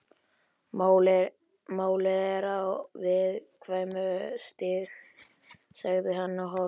Málið er á viðkvæmu stigi sagði hann og hálf